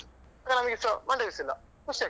ನಂಗೆಸ ಮಂಡೆ ಬಿಸಿ ಇಲ್ಲ ಖುಷಿಯಾಗ್ತದೆ.